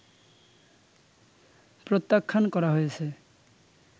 প্রত্যাখ্যান করা হয়েছে